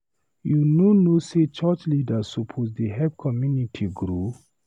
You no know sey church leaders suppose dey help community grow?